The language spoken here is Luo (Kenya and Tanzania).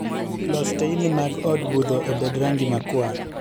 Los teyni mag od budho obed rangi makwar